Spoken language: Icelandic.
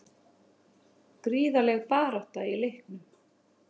Gríðarleg barátta í leiknum